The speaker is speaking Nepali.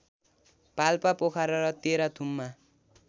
पाल्पा पोखरा र तेह्रथुममा